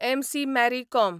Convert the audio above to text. MC. Mary com